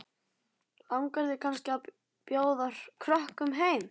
Langar þig kannski til að bjóða krökkum heim?